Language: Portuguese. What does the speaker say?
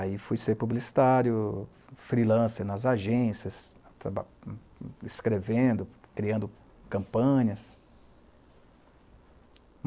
Aí fui ser publicitário, freelancer nas agências, traba, escrevendo, criando campanhas.